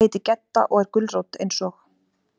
Ég heiti Gedda og er gulrót, eins og.